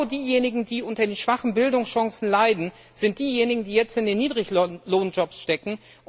Genau diejenigen, die unter den schwachen Bildungschancen leiden, sind diejenigen, die jetzt in den Niedriglohnjobs stecken.